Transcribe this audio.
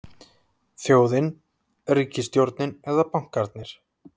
Þjóðin, ríkisstjórnin eða bankarnir?